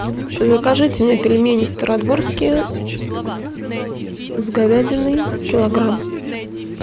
закажите мне пельмени стародворские с говядиной килограмм